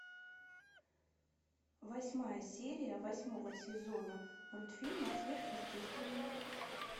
восьмая серия восьмого сезона мультфильма сверхъестественное